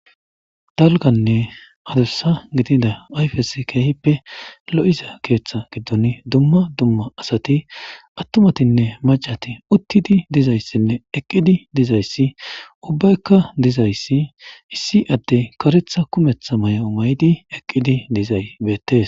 Dalganne adussa gidida ayfes keehippe lo7iza keeththa giddon dumma dumma asati attumatinne macati uttidi dizayssinne eqqidi dizayssi ubbaykka dizayssi issi addey karetha kumetha may7o may7di eqqidi dizay beettes.